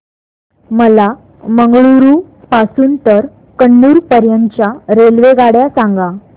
मला मंगळुरू पासून तर कन्नूर पर्यंतच्या रेल्वेगाड्या सांगा